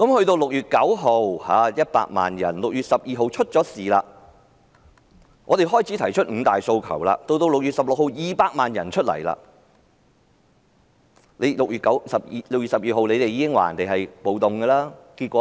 在6月9日，有100萬人上街；而在6月12日的事件發生後，我們開始提出"五大訴求"；到6月16日，再有200萬人上街，但政府在6月12日已提出"暴動"的說法，但結果怎樣呢？